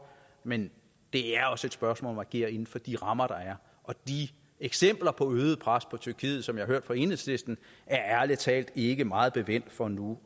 men det er også et spørgsmål agere inden for de rammer der er de eksempler på øget pres på tyrkiet som jeg har hørt fra enhedslisten er ærlig talt ikke meget bevendt for nu